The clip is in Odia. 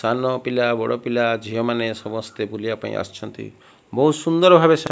ସାନ ପିଲା ବଡ଼ ପିଲା ଝିଅମାନେ ସମସ୍ତେ ବୁଲିବାକୁ ଆସୁଛନ୍ତି ବହୁତ୍ ସୁନ୍ଦର ଭାବରେ ସେ --